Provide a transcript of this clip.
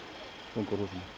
sprungu úr húsinu